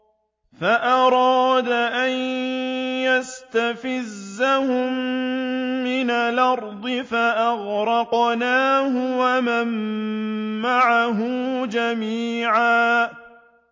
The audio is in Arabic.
فَأَرَادَ أَن يَسْتَفِزَّهُم مِّنَ الْأَرْضِ فَأَغْرَقْنَاهُ وَمَن مَّعَهُ جَمِيعًا